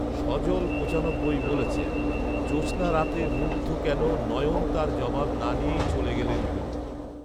সজল পঁচানব্বই বলেছেন, জোছনা রাতে মুগ্ধ কেন নয়ন তার জবাব না নিয়েই চলে গেলেন গুরু